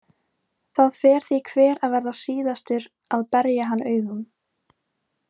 Það fer því hver að verða síðastur að berja hann augum.